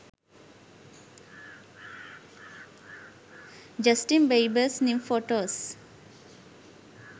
justin biebers new photos